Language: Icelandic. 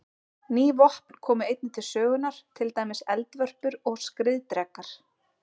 Ný vopn komu einnig til sögunnar, til dæmis eldvörpur og skriðdrekar.